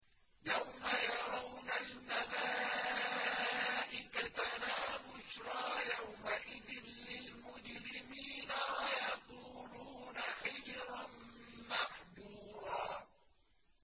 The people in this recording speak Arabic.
يَوْمَ يَرَوْنَ الْمَلَائِكَةَ لَا بُشْرَىٰ يَوْمَئِذٍ لِّلْمُجْرِمِينَ وَيَقُولُونَ حِجْرًا مَّحْجُورًا